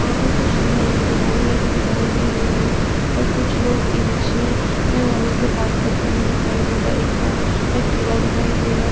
वहाँ पर कुछ दुकानें लगी दिखाई दे रही है और कुछ लोग इ-रिक्शा वाले से बात करते हुए दिखाई दे रहे हैं एक पा एक ठेला दिखाई दे रहा है।